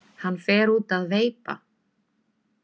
Hann fer út að veipa.